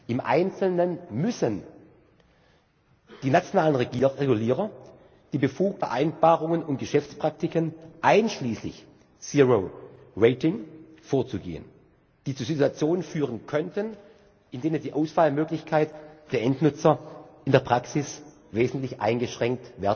Im Einzelnen müssen die nationalen Regulierer die Befugnis erhalten, gegen Vereinbarungen und Geschäftspraktiken einschließlich Zero Rating vorzugehen, die zu Situationen führen könnten, in denen die Auswahlmöglichkeit der Endnutzer in der Praxis wesentlich eingeschränkt